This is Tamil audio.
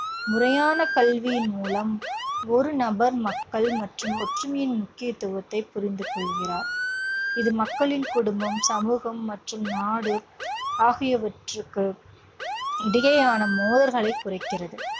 முறையான கல்வியின் மூலம் ஒரு நபர் மக்கள் மற்றும் ஒற்றுமையின் முக்கியத்துவத்தை புரிந்து கொள்கிறார். இது மக்களின் குடும்பம், சமூகம் மற்றும் நாடு ஆகியவற்றுக்கு இடையேயான மோதல்களைக் குறைக்கிறது.